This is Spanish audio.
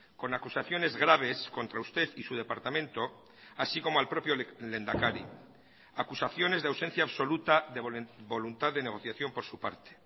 con acusaciones graves contra usted y su departamento así como al propio lehendakari acusaciones de ausencia absoluta de voluntad de negociación por su parte